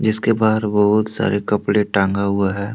इसके बाहर बहुत सारे कपड़े टांगा हुआ है।